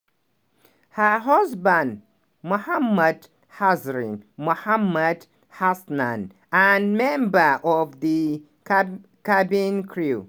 her husband mohd hazrin mohamed hasnan na member of di di cabin crew